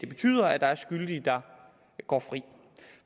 betyder at der er skyldige der går fri